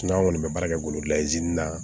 an kɔni bɛ baara kɛ golo la